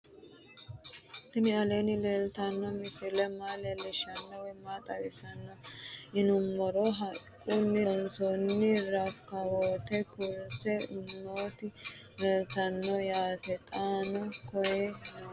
Tinni aleenni leelittanno misile maa leelishshanno woy xawisannori maattiya yinummoro haquunni loonsoonni rakawoottenna kurisse nootti leelittanno yaatte xaanno koye nootti